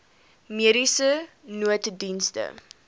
mediese nooddienste